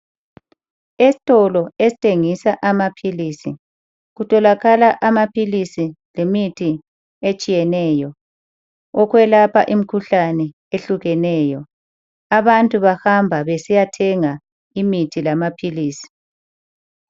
Esitolo esithengisa amaphilisi kutholakala amaphilisi lemithi etshiyeneyo, okwelapha imikhuhlane eyehlukeneyo. Abantu bahamba besiyothenga imithi lamaphilisi.